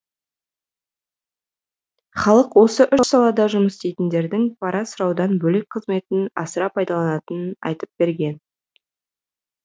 халық осы үш салада жұмыс істейтіндердің пара сұраудан бөлек қызметін асыра пайдаланатынын айтып берген